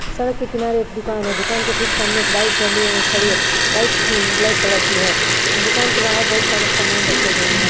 सड़क के किनारे एक दुकान है दुकान के ठीक सामने एक बाइक खली खड़ी है बाइक ब्लैक कलर की है दुकान के बहार बोहोत सारे सामान रखे गये हैं।